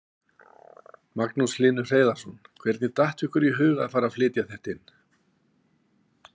Magnús Hlynur Hreiðarsson: Hvernig datt ykkur í huga að fara að flytja þetta inn?